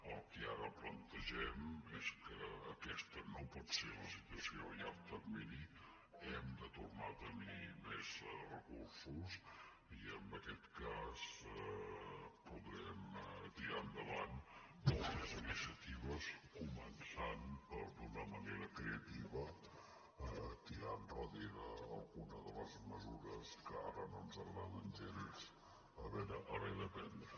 el que ara plantegem és que aquesta no pot ser la situació a llarg termini hem de tornar a tenir més recursos i en aquest cas podrem tirar endavant poques iniciatives començant per d’una manera creativa tirar endarrere alguna de les mesures que ara no ens agrada gens haver de prendre